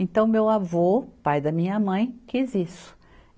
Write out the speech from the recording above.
Então meu avô, pai da minha mãe, quis isso.